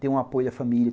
Tenho o apoio da família.